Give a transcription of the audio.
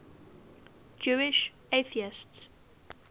jewish atheists